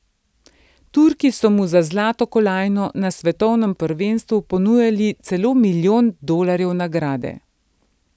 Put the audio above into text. Turki so mu za zlato kolajno na svetovnem prvenstvu ponujali celo milijon dolarjev nagrade.